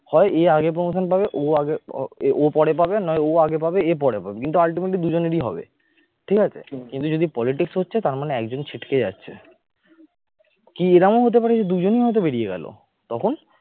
হয় এই আগে promotion পাবে ও আগে ও পরে পাবে নয় ও আগে পাবে এ পরে পাবে কিন্তু ultimately দুইজনেরই হবে, ঠিক আছে? কিন্তু যদি politics হচ্ছে তার মানে একজন ছিটকে যাচ্ছে । কি এরকম হতে পারে দুজনই হয়তো বেরিয়ে গেল। তখন